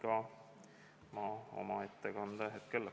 Kas fraktsioonidel on soovi avada läbirääkimised?